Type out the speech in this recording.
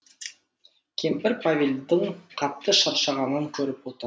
кемпір павелдің қатты шаршағанын көріп отыр